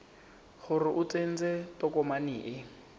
gore o tsentse tokomane e